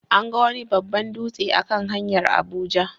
An ga wani babban dutse a kan hanyar Abuja.